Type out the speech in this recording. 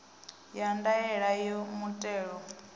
ya ndaela ya muthelo a